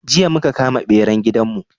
Jiya muka kama beran gidan mu